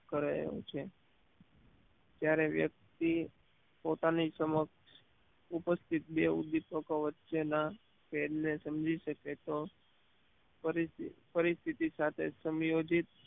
કરે છે જ્યારે વ્યક્તિ પોતાની સમક્ષ ઉપસ્થિત બે ઉદ્દીપક વચ્ચેના ફેરને સમજી શકે તો પરી પરિસ્થિતિ સાથે સમયોજિત